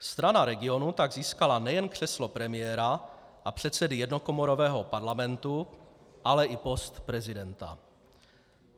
Strana regionů tak získala nejen křeslo premiéra a předsedy jednokomorového parlamentu, ale i post prezidenta.